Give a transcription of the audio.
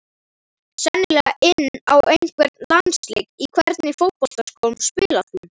Sennilega inn á einhvern landsleik Í hvernig fótboltaskóm spilar þú?